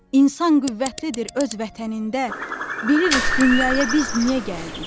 İnsan qüvvətlidir öz vətənində, bilirik dünyaya biz niyə gəldik.